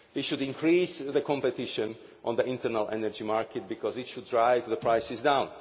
We should increase the competition on the internal energy market, because it should drive the prices